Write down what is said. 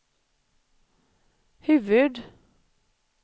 huvud-